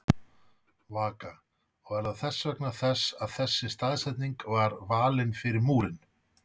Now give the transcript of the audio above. Vaka: Og er það þess vegna þess að þessi staðsetning var valin fyrir múrinn?